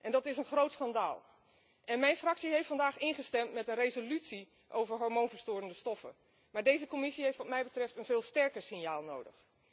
Dat is een groot schandaal. Mijn fractie heeft vandaag ingestemd met een resolutie over hormoonverstorende stoffen, maar deze Commissie heeft wat mij betreft een veel sterker signaal nodig.